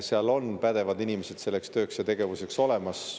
Seal on pädevad inimesed selleks tööks ja tegevuseks olemas.